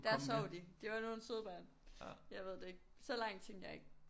Der sov de. De var nogle søde børn. Jeg ved det ikke så langt tænkte jeg ikke